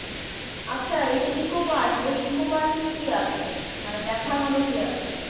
আচ্ছা এই যে ইকো পার্ক এই ইকো পার্কে কি আছে মানে দেখার মতো কি আছে